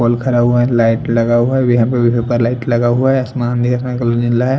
- pole खड़ा हुआ है लाइट लगा हुआ है लाइट लगा हुआ है आस्मां दिख रहे अस का कलर नीला ह--